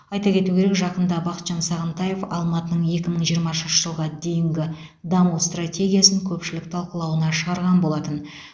айта кету керек жақында бақытжан сағынтаев алматының екі мың жиырмасыншы жылға дейінгі даму стратегиясын көпшілік талқылауына шығарған болатын